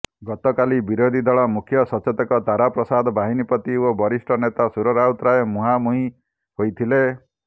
ଗତକାଲି ବିରୋଧୀ ଦଳ ମୁଖ୍ୟ ସଚେତକ ତାରାପ୍ରସାଦ ବାହିନୀପତି ଓ ବରିଷ୍ଠ ନେତା ସୁର ରାଉତରାୟ ମୁହାଁମୁହିଁ ହୋଇଥିଲେ